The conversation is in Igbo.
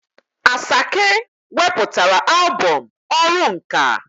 Asake weputara albọm "ọrụ nka'.